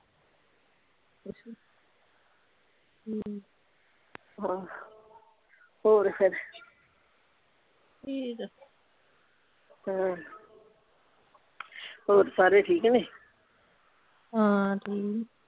ਹਮ ਹਾਂ ਹੋਰ ਫੇਰ ਠੀਕ ਆ ਹਾਂ ਹੋਰ ਸਾਰੇ ਠੀਕ ਨੇ ਹਾਂ ਠੀਕ ਨੇ